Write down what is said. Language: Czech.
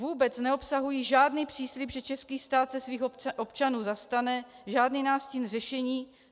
Vůbec neobsahují žádný přislib, že český stát se svých občanů zastane, žádný nástin řešení.